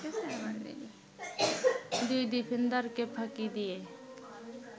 দুই ডিফেন্ডারকে ফাঁকি দিয়ে